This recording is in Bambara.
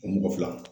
O mɔgɔ fila